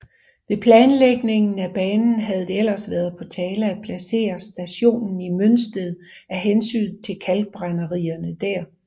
Ved planlægningen af banen havde det ellers været på tale at placere stationen i Mønsted af hensyn til kalkbrænderierne der